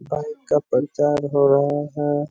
Bike का प्रचार हो रहा है।